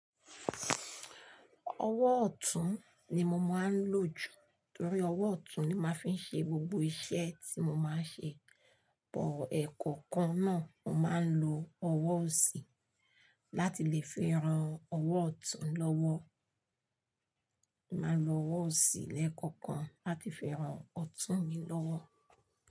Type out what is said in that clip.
Ọwọ́ ọ̀tún ni mo máa ń lò jù torí ọwọ́ ọ̀tún ni màá fi ń ṣe gbogbo iṣẹ́ tí mo máa ń ṣe. Bọ̀ọ́ ẹ̀kọ̀kan náà, mo máa ń lo ọwọ́ ọ̀sì láti lè fẹ́ran ọwọ́ ọ̀tún lọ́wọ́. Màá lo ọwọ́ ọ̀sì lẹ́ẹ̀kọ̀kan láti fẹ́ran ọ̀tún mi lọ́wọ́.